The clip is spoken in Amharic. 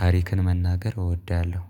ታሪክን መናገር እወዳለሁ